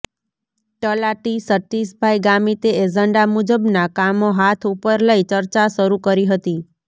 તલાટી સતીષભાઈ ગામીતે એજન્ડા મુજબના કામો હાથ ઉપર લઈ ચર્ચા શરૂ કરી હતી